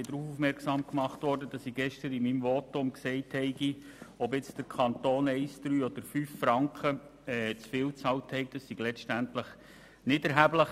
Ich wurde darauf aufmerksam gemacht, dass ich gestern in meinem Votum gesagt habe, ob der Kanton nun 1, 3, oder 5 Franken zu viel bezahlt hat, sei letztlich nicht erheblich.